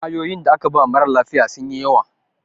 ƙwayoyinda aka ba mara lafiya sun yi yawa